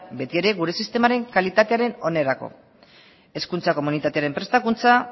betiere gure sistemaren kalitatearen onerako hezkuntza komunitatearen prestakuntza